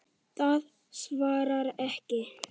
Það svarar ekki.